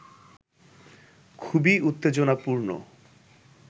খুবই উত্তেজনাপূর্ণ